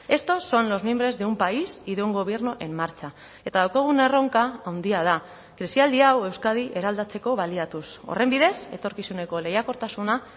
estos son los mimbres de un país y de un gobierno en marcha eta daukagun erronka handia da krisialdi hau euskadi eraldatzeko baliatuz horren bidez etorkizuneko lehiakortasuna